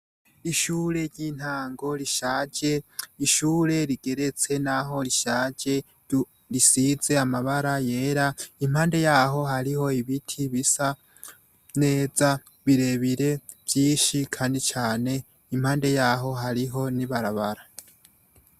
ishure ryintango rishaje n' ishure rigeretse naho rishaje risize amabara yera impande yaho hariho ibiti bisa neza birebire vyinshi kandi cane impande yaho hariho n ' ibarabara.